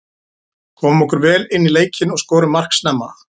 Komum okkur vel inní leikinn og skorum mark snemma.